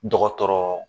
Dɔgɔtɔrɔ